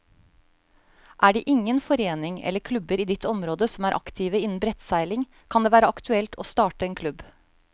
Er det ingen foreninger eller klubber i ditt område som er aktive innen brettseiling, kan det være aktuelt å starte en klubb.